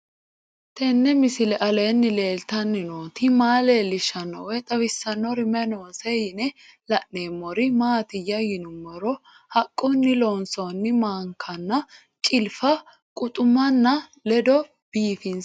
Tenni misile aleenni leelittanni nootti maa leelishshanno woy xawisannori may noosse yinne la'neemmori maattiya yinummoro haqqunni loonsoonni maankanna ciliffa quxuummanno ledo biiffinsse